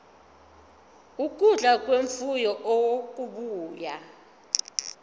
ukudla kwemfuyo okubuya